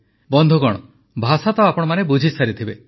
ବନ୍ଧୁଗଣ ଭାଷା ତ ଆପଣମାନେ ବୁଝିସାରିଥିବେ